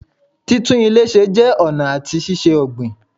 Títún ilè se jẹ́ ọ̀nà àti ṣíṣe ọ̀gbìn